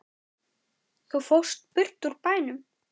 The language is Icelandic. Þú fórst burt úr bænum.